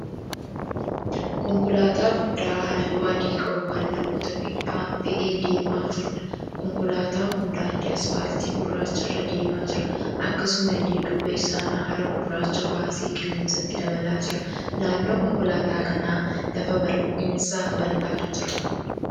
Konkolaataa guddaa halluu adii qabu kan namoota fe'ee deemaa jiruudha. Konkolaataan kun daandii asfaaltii gurraacha irra deemaa jira. Akkasumallee duuba isaan haara gurraacha baasee qilleensatti dabalaa jira. Naannoo konkolaataa kanaa lafa bal'eensa bal'aatu jira.